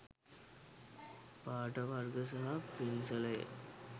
පාට වර්ග සහ පින්සලය